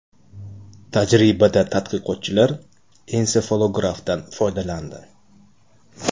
Tajribada tadqiqotchilar ensefalografdan foydalandi.